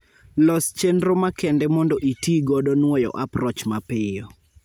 Los chendro makende mond itii godo nwoyo approach mapiyo